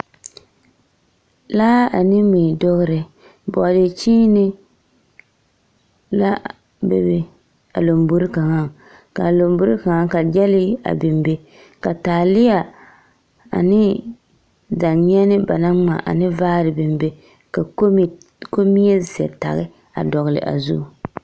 Laa ane mui dogere, bɔɔde kyeene la be a lombori kaŋaŋ, ka gyɛlee a biŋ be ka taaleɛ, ane danye8ne ba naŋ ŋma, ane vaare biŋ be, ka kombi… kombie zɛtage a dɔgele a zu.